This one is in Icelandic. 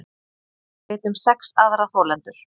Veit um sex aðra þolendur